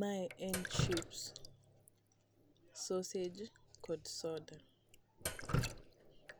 Mae en chips, sausage kod soda.